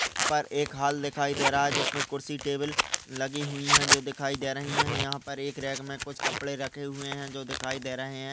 यहा पर एक हॉल दिखाई दे रहा है। जिसमे कुर्सी टेबल लगी हुए है। जो दिखाई दे रही है। यहा पर एक रॅक मे कुछ कपड़े रखे हुए है। जो दिखाई दे रहे है।